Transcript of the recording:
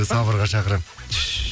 сабырға шақырамын